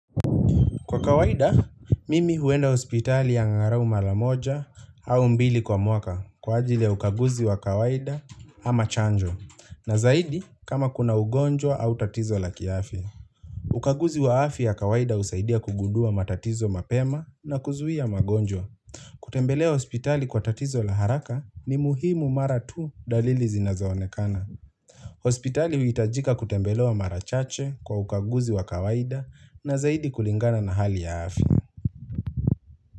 Kwa kawaida, mimi huenda hospitali angarau mara moja au mbili kwa mwaka kwa ajili ya ukaguzi wa kawaida ama chanjo na zaidi kama kuna ugonjwa au tatizo la kiafya. Ukaguzi wa afya ya kawaida husaidia kugundua matatizo mapema na kuzuia magonjwa. Kutembelea hospitali kwa tatizo la haraka ni muhimu mara tu dalili zinazoonekana. Hospitali huitajika kutembelewa mara chache kwa ukaguzi wa kawaida na zaidi kulingana na hali ya afya.